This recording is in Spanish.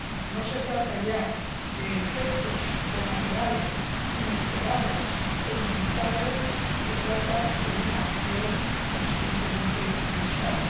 No se trata ya de efectos colaterales inesperados e inevitables, se trata de una acción conscientemente buscada.